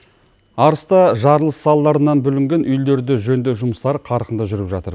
арыста жарылыс салдарынан бүлінген үйлерді жөндеу жұмыстары қарқынды жүріп жатыр